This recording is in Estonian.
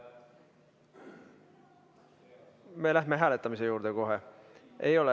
Me läheme hääletamise juurde kohe.